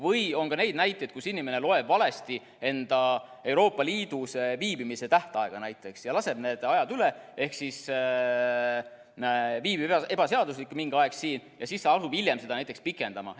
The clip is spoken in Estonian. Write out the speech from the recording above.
Või on ka neid näiteid, kus inimene loeb valesti enda Euroopa Liidus viibimise tähtaega näiteks ja laseb need ajad üle ehk siis viibib ebaseaduslikult mingi aeg siin ja siis ta asub hiljem seda näiteks pikendama.